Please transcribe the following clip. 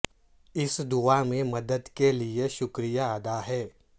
اس دعا میں مدد کے لئے شکریہ ادا ہیں